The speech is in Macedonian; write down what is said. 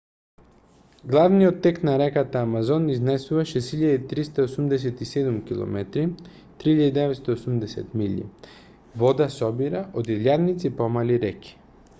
главниот тек на реката амазон изнесува 6387 км 3980 милји. вода собира од илјадници помали реки